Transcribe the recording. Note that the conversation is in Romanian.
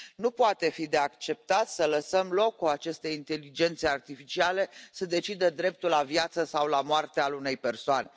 Nu poate fi acceptat să lăsăm loc ca aceste inteligențe artificiale să decidă dreptul la viață sau la moarte al unei persoane.